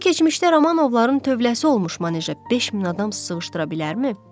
O, keçmişdə Romanovların tövləsi olmuş maneja 5 min adam sığışdıra bilərmi?